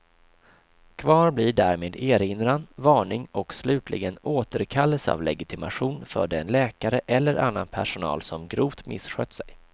Kvar blir därmed erinran, varning och slutligen återkallelse av legitimation för den läkare eller annan personal som grovt misskött sig.